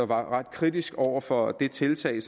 ret kritisk over for det tiltag